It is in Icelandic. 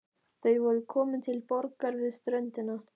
Þau voru komin til borgar við ströndina.